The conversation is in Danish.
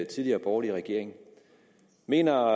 tidligere borgerlige regering mener